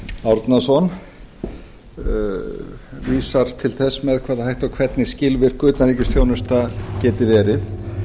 árnason vísar til þess með hvaða hætti og hvernig skilvirk utanríkisþjónusta geti verið